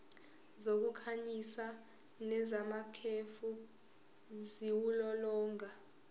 zokukhanyisa nezamakhefu ziwulolonga